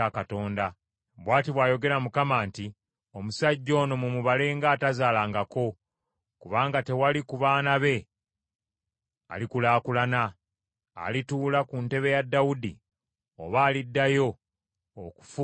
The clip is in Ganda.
Bw’ati bw’ayogera Mukama nti, “Omusajja ono mumubale ng’atazaalangako kubanga tewali ku baana be alikulaakulana, alituula ku ntebe ya Dawudi oba aliddayo okufuga mu Yuda.”